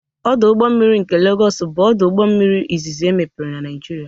Ọdụ ụgbọ mmiri nke Legos bụ ọdụ ụgbọ mmiri izizi emepere na Naịjirịa.